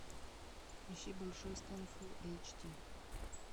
ищи большой стэн фулл эйч ди